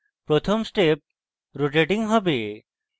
প্রথম step rotating হবে